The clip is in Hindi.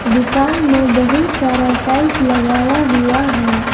दुकान में बहुत सारा टाइल्स लगाया हुआ है।